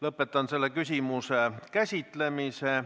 Lõpetan selle küsimuse käsitlemise.